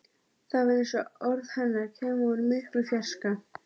Það var eins og orð hennar kæmu úr miklum fjarska.